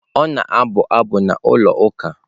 Ọ na-abụ abụ na ụlọ ụka.